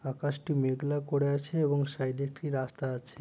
আকাশটি মেঘলা করে আছে এবং সাইডে একটি রাস্তা আছে।